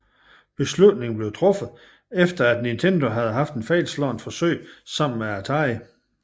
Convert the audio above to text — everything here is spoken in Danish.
Beslutningen blev truffet efter at Nintendo havde haft et fejlslagent forsøg sammen med Atari